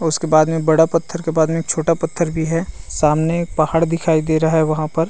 उसके बाद में बड़ा पत्थर के बाद में एक छोटा पत्थर भी है सामने एक पहाड़ दिखाई दे रहा है वहाँ पर--